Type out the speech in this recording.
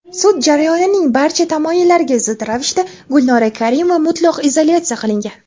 Sud jarayonining barcha tamoyillariga zid ravishda Gulnora Karimova mutlaq izolyatsiya qilingan.